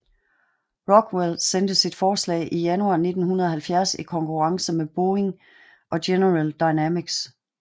Rockwell sendte sit forslag i januar 1970 i konkurrence med Boeing og General Dynamics